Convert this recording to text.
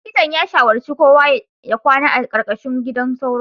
Likitan ya shawarci kowa ya kwana a ƙarƙashin gidan sauro